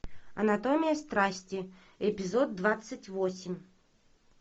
анатомия страсти эпизод двадцать восемь